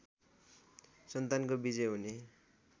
सन्तानको विजयी हुने